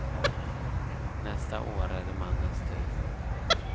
Nästa år är det mannens tur.